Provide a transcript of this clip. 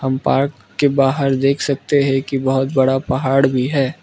Park के बाहर देख सकते है की बहोत बड़ा पहाड़ भी है।